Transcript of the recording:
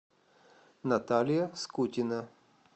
наталья скутина